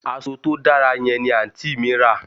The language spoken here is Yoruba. Aso to dara yen ni anti mi ra